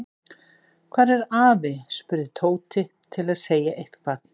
Hvar er afi? spurði Tóti til að segja eitthvað.